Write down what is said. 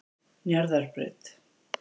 Njarðarbraut